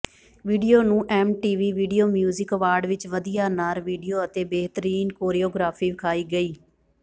video ਨੂੰ MTV video music award ਵਿੱਚ ਵਧੀਆ ਨਰ ਵੀਡੀਓ ਅਤੇ ਬਿਹਤਰੀਨ ਕੋਰਿਓਗ੍ਰਾਫੀ ਵਿਖਾਈ ਗਈ